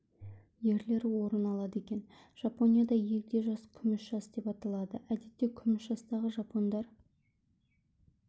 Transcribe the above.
ерлері орын алады екен жапонияда егде жас күміс жас деп аталады әдетте күміс жастағы жапондар